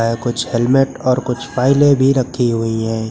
कुछ हेलमेट और कुछ फाइलें भी रखी हुई हैं।